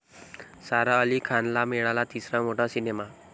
सारा अली खानला मिळाला तिसरा मोठा सिनेमा